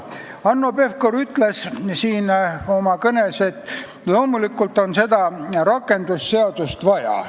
Hanno Pevkur ütles oma kõnes, et loomulikult on seda rakendusseadust vaja.